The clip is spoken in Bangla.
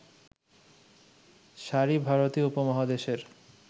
শাড়ি ভারতীয় উপমহাদেশের